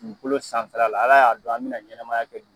Dugukolo sanfɛla la ala y'a dɔn an bena ɲɛnɛmaya kɛ du